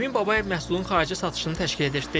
Emin Babayev məhsulun xarici satışını təşkil edir.